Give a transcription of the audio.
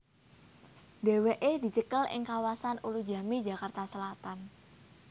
Dhéwéké dicekel ing di kawasan Ulujami Jakarta Selatan